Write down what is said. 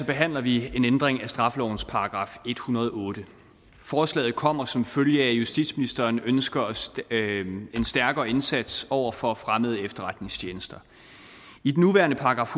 behandler vi en ændring af straffelovens § en hundrede og otte forslaget kommer som følge af at justitsministeren ønsker en stærkere indsats over for fremmede efterretningstjenester i den nuværende §